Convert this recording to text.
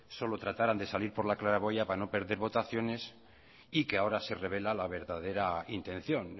solo trataran de salir por la claraboya para no perder votaciones y que ahora se revela la verdadera intención